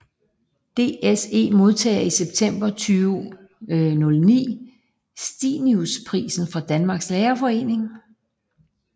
DSE modtager i september 2009 Stinusprisen fra Danmarks Lærerforening